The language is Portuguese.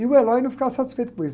E o não ficava satisfeito com isso.